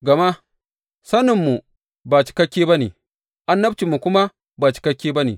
Gama saninmu ba cikakke ba ne, annabcinmu kuma ba cikakke ba ne.